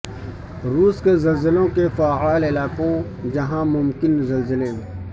روس کے زلزلوں کے فعال علاقوں جہاں ممکن زلزلے